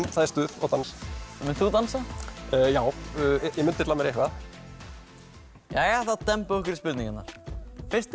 það er stuð og dans mundir þú dansa já ég mun dilla mér eitthvað þá dembum við okkur í spurningarnar fyrsti